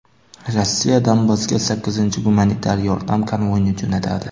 Rossiya Donbassga sakkizinchi gumanitar yordam konvoyini jo‘natadi.